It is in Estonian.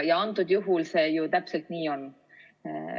Antud juhul see ju täpselt nii on.